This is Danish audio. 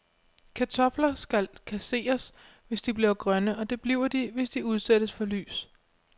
Kartofler skal kasseres, hvis de bliver grønne, og det bliver de, hvis de udsættes for lys.